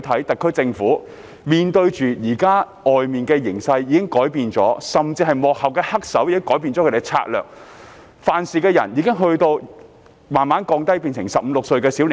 特區政府現時面對的形勢已有所改變，原因是幕後黑手已改變策略，犯事者已逐漸變為15歲、16歲的小伙子。